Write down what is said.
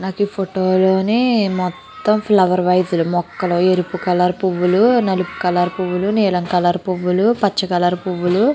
నాకు ఈ ఫోటో లోనే మొత్తం ఫ్లవర్ వైస్ మొక్కలు ఎరుపు కలర్ పువ్వులు నలుపు కలర్ పువ్వులు నీలం కలర్ పువ్వులు పచ్చ కలర్ పువ్వులు --